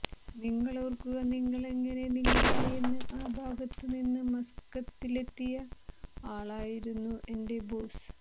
നിങ്ങളോര്ക്കുക നിങ്ങളെങ്ങനെ നിങ്ങളായെന്ന് ആ ഭാഗത്ത് നിന്ന് മസ്കത്തിലെത്തിയ ആളായിരുന്നു എന്റെ ബോസ്